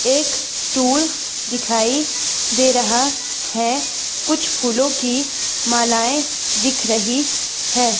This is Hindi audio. एक स्टूल दिखाई दे रहा है कुछ फूलों की मालाएं दिख रही है।